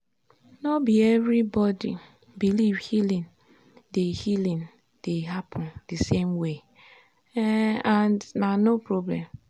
no be everybody believe healing dey healing dey happen the same way um and na no problem.